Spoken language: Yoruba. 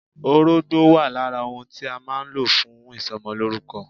Orógbó wà lára ohun tí a má a nlò fún ìsomolórúko